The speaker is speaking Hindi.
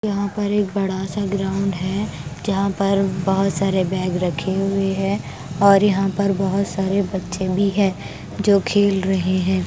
यहां पर एक बड़ा सा ग्राउंड है जहां पर बहुत सारे बैग रखे हुए हैं और यहां पर बहुत सारे बच्चे भी हैं जो खेल रहे हैं।